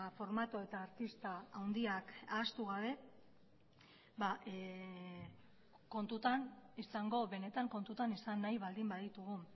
formato eta artista handiak ahaztu gabe benetan kontutan izan nahi baldin baditugu